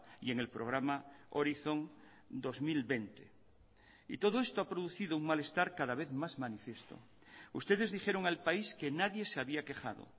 y en el programa horizon dos mil veinte y todo esto ha producido un malestar cada vez más manifiesto ustedes dijeron al país que nadie se había quejado